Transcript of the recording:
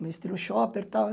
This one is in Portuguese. No estilo chopper e tal, né?